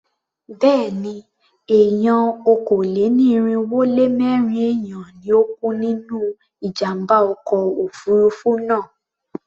Béèni, èèyàn okòó-lé-ní-irínwó-lé-mẹ́rin èèyàn ni ó kú nínú ìjàmbá ọkọ̀ òfurufú náà.